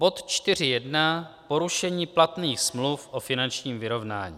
Bod 4.1 Porušení platných smluv o finančním vyrovnání.